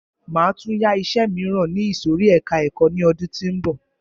Máa tún yá iṣẹ míràn ní ìsòrí ẹka ẹ̀kọ́ ni ọdún tí ó ń bọ̀.